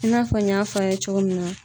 I n'a fɔ n y'a fɔ a' ye cogo min na